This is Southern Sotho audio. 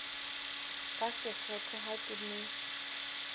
ka sekgethe ha ke ne